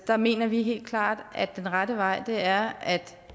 så mener vi helt klart at den rette vej er at